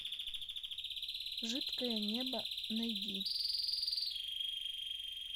жидкое небо найди